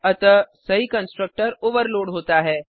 अतः सही constructor overload होता है